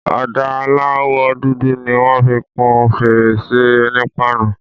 Ọ̀dà aláwọ̀ dúdú ni wọ́n fi kun fèrèsé onípáànù.